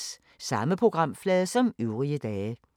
Samme programflade som øvrige dage